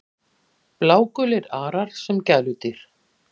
Blágulir arar sem gæludýr